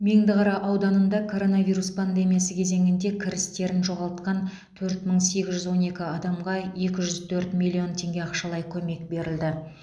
меңдіқара ауданында коронавирус пандемиясы кезеңінде кірістерін жоғалтқан төрт мың сегіз жүз он екі адамға екі жүз төрт миллион теңге ақшалай көмек берілді